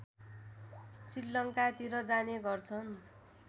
श्रीलङ्कातिर जाने गर्छन्